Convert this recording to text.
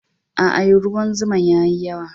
Aa, ruwan zuma'n yayi yawa.